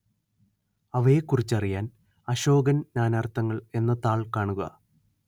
അവയെക്കുറിച്ചറിയാന്‍ അശോകന്‍ നാനാര്‍ത്ഥങ്ങള്‍ എന്ന താള്‍ കാണുക